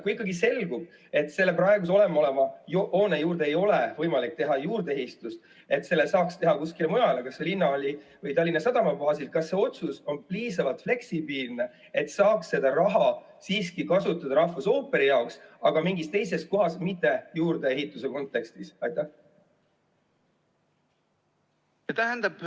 Kui ikkagi selgub, et selle praeguse olemasoleva hoone juurde ei ole võimalik teha juurdeehitust ja et selle saaks teha kuskile mujale, kas linnahalli või Tallinna Sadama baasil, kas see otsus on siis piisavalt fleksibiilne, et saaks seda raha siiski kasutada rahvusooperi jaoks, aga mingis teises kohas, mitte juurdeehituse kontekstis?